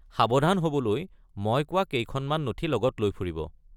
সাৱধান হ'বলৈ মই কোৱা কেইখনমান নথি লগত লৈ ফুৰিব।